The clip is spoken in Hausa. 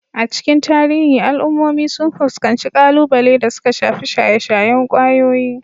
A cikin tarihi, al'ummomi sun fuskanci kalubale da suka shafi shaye-shayen kwayoyi,